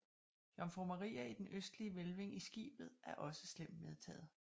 Jomfru Maria i den østlige hvælving i skibet er også slemt medtaget